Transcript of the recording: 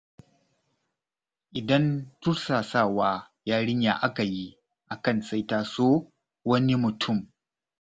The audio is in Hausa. Idan tursasawa yarinya aka yi akan sai ta so wani mutum.